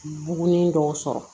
Bugunin dɔw sɔrɔ